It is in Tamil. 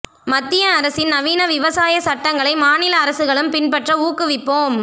மத்திய அரசின் நவீன விவசாய சட்டங்களை மாநில அரசுகளும் பின்பற்ற ஊக்குவிப்போம்